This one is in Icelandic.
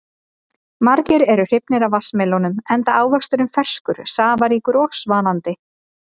Margir eru hrifnir af vatnsmelónum enda ávöxturinn ferskur, safaríkur og svalandi.